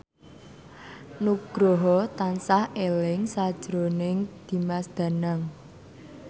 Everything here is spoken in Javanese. Nugroho tansah eling sakjroning Dimas Danang